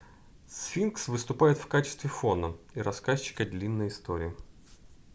сфинкс выступает в качестве фона и рассказчика длинной истории